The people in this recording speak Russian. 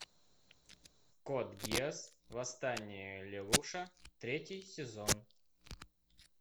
код гиас восстание лелуша третий сезон